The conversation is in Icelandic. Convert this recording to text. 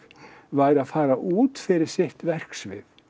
væri að fara út fyrir sitt verksvið